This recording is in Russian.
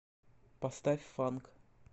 поставь фанк